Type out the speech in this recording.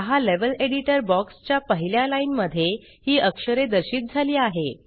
पहा level editor box च्या पहिल्या लाइन मध्ये ही अक्षरे दर्शित झाली आहे